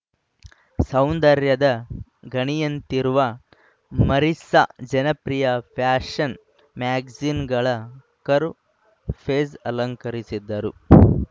ಸೌಂದರ್ಯದ ಗಣಿಯಂತಿರುವ ಮರಿಸ್ಸಾ ಜನಪ್ರಿಯ ಫ್ಯಾಶನ್‌ ಮ್ಯಾಗಜಿನ್‌ಗಳ ಕರ್ವ ಪೇಜ್‌ ಅಲಂಕರಿಸಿದ್ದರು